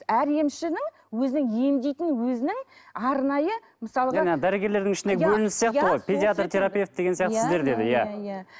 әр емшінің өзінің емдейтін өзінің арнайы мысалға жаңа дәрігерлердің ішіндегі бөлініс сияқты ғой педиатр терапевт деген сияқты сіздерде де иә иә иә